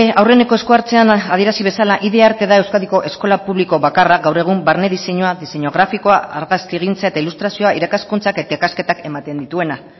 aurreneko eskuhartzean adierazi bezala id arte da euskadiko eskola publiko bakarra gaur egun barne diseinua diseinu grafikoa argazkigintza eta ilustrazioa irakaskuntzak eta ikasketak ematen dituena